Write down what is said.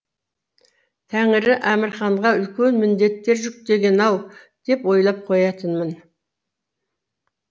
тәңірі әмірханға үлкен міндеттер жүктеген ау деп ойлап қоятынмын